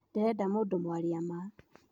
Ndirenda mũndũ mwaria ma